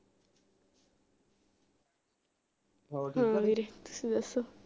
ਵੀਰੇ ਤੁਸੀਂ ਦਸੋ